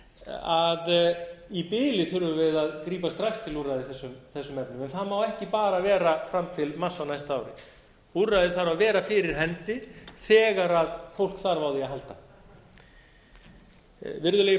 að í bili þurfum við að grípa strax til úrræða í þessum efnum en það má ekki bara vera fram til mars á næsta ári úrræðið þarf að vera fyrir hendi þegar fólk þarf á því að halda virðulegi